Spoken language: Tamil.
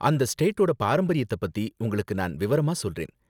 அந்த ஸ்டேட்டோட பாரம்பரியத்த பத்தி உங்களுக்கு நான் விவரமா சொல்றேன்